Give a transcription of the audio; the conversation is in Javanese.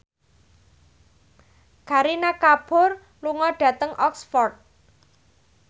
Kareena Kapoor lunga dhateng Oxford